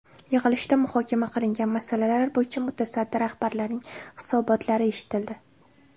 Yig‘ilishda muhokama qilingan masalalar bo‘yicha mutasaddi rahbarlarning hisobotlari eshitildi.